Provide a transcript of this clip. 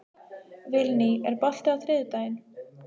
Vilný, er bolti á þriðjudaginn?